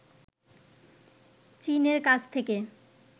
চীনের কাছ থেকে